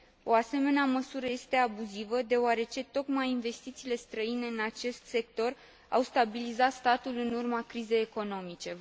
O asemenea măsură este abuzivă, deoarece tocmai investițiile străine în acest sector au stabilizat statul în urma crizei economice.